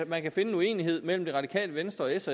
man kan finde en uenighed mellem det radikale venstre og s